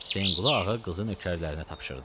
Hüseynqulu ağa qızı nökərlərinə tapşırdı.